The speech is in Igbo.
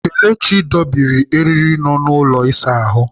Kelechi dobiri eriri nọ n'ụlọ ịsa ahụ.